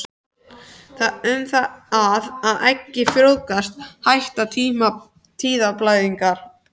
Við það að eggið frjóvgast hætta tíðablæðingarnar.